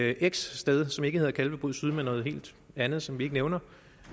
er x sted som ikke hedder kalvebod syd men noget helt andet som vi ikke nævner